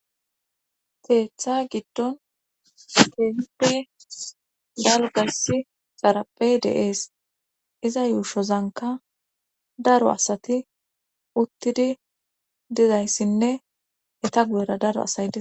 Keeththa giddon teepi dalgasi xarapey deees iza yuushozanka daro asati uttidi dizayssinne eta gudera daro asay di.